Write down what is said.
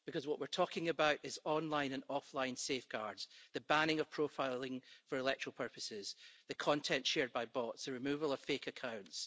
Because what we're talking about is online and offline safeguards, the banning of profiling for electoral purposes, the content shared by bots, the removal of fake accounts.